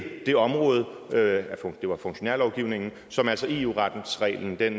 det område det var funktionærlovgivningen som altså eu retsreglen gjaldt